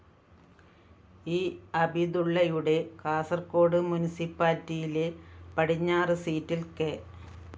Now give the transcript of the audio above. E അബിദുള്ളയുടെ കാസര്‍കോട് മുനിസിപ്പാലിറ്റിയിലെ പടിഞ്ഞാറ് സീറ്റില്‍ കെ